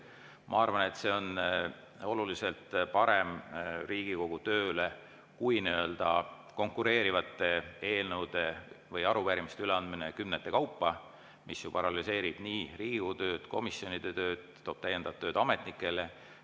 Ma arvan, et see on Riigikogu tööle oluliselt parem kui nii-öelda konkureerivate eelnõude või arupärimiste üleandmine kümnete kaupa, mis ju paralüseerib Riigikogu tööd, komisjonide tööd, toob täiendavat tööd ametnikele.